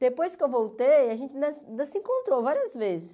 Depois que eu voltei, a gente na ainda se encontrou várias vezes.